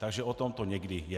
Takže o tom to někdy je.